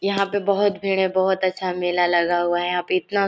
यहाँ पे बहोत भीड़ है बहोत अच्छा मेला लगा हुआ है यहाँ पे इतना--